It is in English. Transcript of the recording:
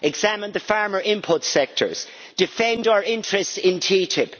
Examine the farmer input sectors and defend our interests in TTIP.